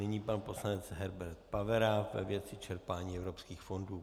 Nyní pan poslanec Herbert Pavera ve věci čerpání evropských fondů.